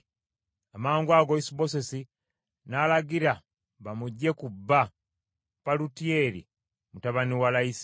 Amangwago Isubosesi n’alagira, bamuggye ku bba Palutiyeri mutabani wa Layisi.